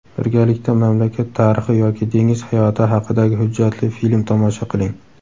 Birgalikda mamlakat tarixi yoki dengiz hayoti haqidagi hujjatli film tomosha qiling.